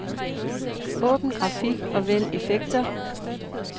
Åbn grafik og vælg effekter.